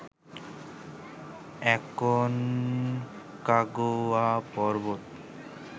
Aconcagua পর্বত